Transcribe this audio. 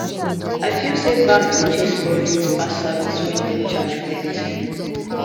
i feel say banks dey chase profit pass service when dem charge plenty